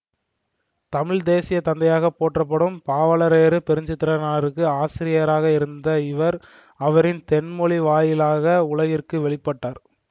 தமிழ்த்தேசியத்தந்தையாகப் போற்றப்படும் பாவலரேறு பெருஞ்சித்திரனாருக்கு ஆசிரியராக இருந்த இவர் அவரின் தென்மொழி வாயிலாக உலகிற்கு வெளிப்பட்டார்